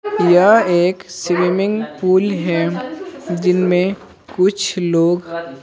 यह एक swimming pool है जिनमें कुछ लोग।